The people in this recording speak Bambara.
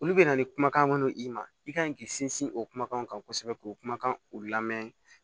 Olu bɛna ni kumakan minnu ye ma i ka ɲi k'i sinsin o kumakan kosɛbɛ k'o kumakan u lamɛn